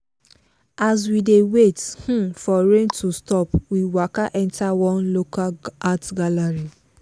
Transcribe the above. as we dey wait um for rain to stop we waka enter one local art gallery.